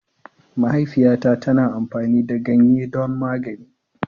Mahaifiyata tana amfani da ganye don magani.